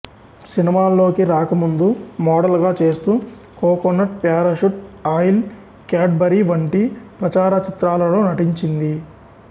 సినీమాల్లోకి రాకముందు మోడల్ గా చేస్తూ coconut parachute oil Cadbury వంటి ప్రచార చిత్రాలలో నటించింది